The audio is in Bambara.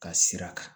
Ka sira kan